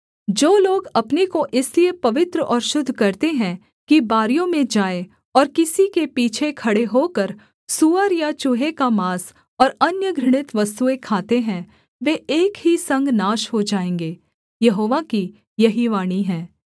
जो लोग अपने को इसलिए पवित्र और शुद्ध करते हैं कि बारियों में जाएँ और किसी के पीछे खड़े होकर सूअर या चूहे का माँस और अन्य घृणित वस्तुएँ खाते हैं वे एक ही संग नाश हो जाएँगे यहोवा की यही वाणी है